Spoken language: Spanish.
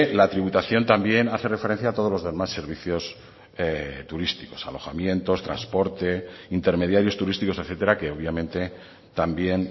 la tributación también hace referencia a todos los demás servicios turísticos alojamientos transporte intermediarios turísticos etcétera que obviamente también